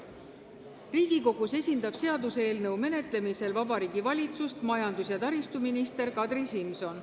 Riigikogus esindab seaduseelnõu menetlemisel Vabariigi Valitsust majandus- ja taristuminister Kadri Simson.